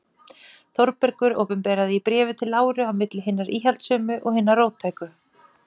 Þórbergur opinberaði í Bréfi til Láru: á milli hinna íhaldssömu og hinna róttæku.